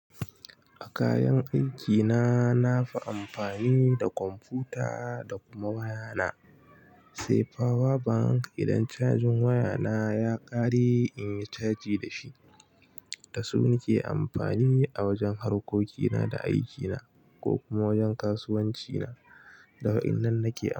A kayan aikina nafi amfani da kwamfuta da kuma waya na. Sai power bank idan cajin waya na ya kare in yi caji da shi. Da su nake amfani a wajen harkokina da aikina ko kuma wajen kasuwanci na. Da wa innan nake amfani.